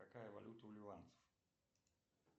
какая валюта у ливанцев